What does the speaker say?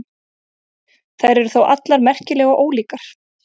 Þær eru þó allar merkilega ólíkar.